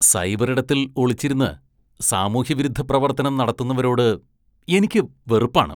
സൈബറിടത്തില്‍ ഒളിച്ചിരുന്ന് സാമൂഹ്യവിരുദ്ധ പ്രവര്‍ത്തനം നടത്തുന്നവരോട് എനിക്ക് വെറുപ്പാണ്.